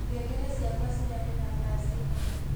ngengere cĩakwa cirarira thaa cĩĩgana